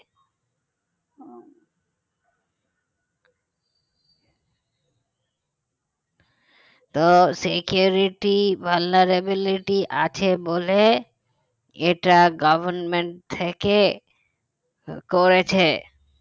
তো security vulnerabilities আছে বলে এটা government থেকে করেছে